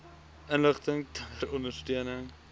inligting ter ondersteuning